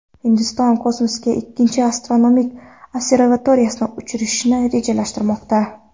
Hindiston kosmosga ikkinchi astronomik observatoriyani uchirishni rejalashtirmoqda.